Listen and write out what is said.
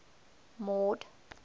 mord